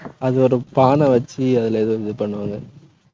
அது ஒரு பானை வச்சு, அதுல ஏதோ இது பண்ணுவாங்க.